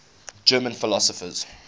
german philosophers